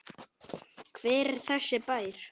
Hver er þessi bær?